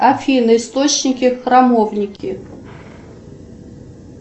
афина источники храмовники